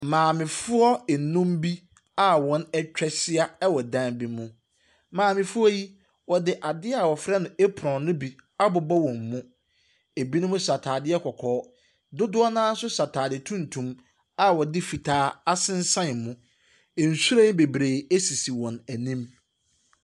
Maamefoɔ nnum bi a wɔatwa ahyia wɔn dan bi mu. Maamefoɔ yi, wɔde adeɛ a wɔfrɛ no apron no bi abobɔ wɔn mu. Ɛbinom hyɛ atadeɛ kɔkɔɔ. Dodoɔ no ara nso hyɛ atadeɛ tuntum a wɔde fitaa asensan mu. Nhwiren bebree sisi wɔn anim.